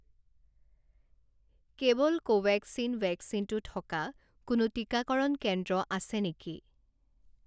কেৱল কোভেক্সিন ভেকচিনটো থকা কোনো টিকাকৰণ কেন্দ্ৰ আছে নেকি?